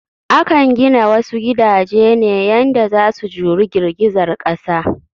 Akan gina wasu gidaje ne yanda za su juri girgizar ƙasa